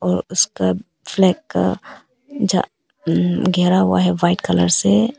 उसका फ्लैग का घेरा हुआ है व्हाइट कलर से।